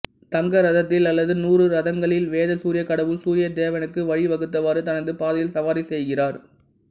தங்க ரதத்தில் அல்லது நூறு ரதங்களில்வேத சூரிய கடவுள் சூர்ய தேவனுக்கு வழி வகுத்தவாறு தனது பாதையில் சவாரி செய்கிறார்